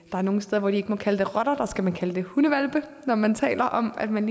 er nogle steder hvor de ikke må kalde det rotter der skal man kalde det hundehvalpe når man taler om at man